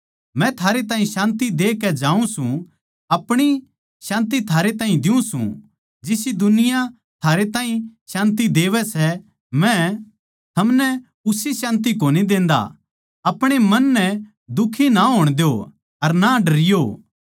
मै थारै ताहीं शान्ति देकै जाऊँ सूं अपणी शान्ति थारै ताहीं दियुँ सूं जिसी दुनिया थारे ताहीं शान्ति देवै सै मै थमनै उसी शान्ति कोनी देंदा अपणे मन नै दुखी ना होण द्यो अर ना डरियो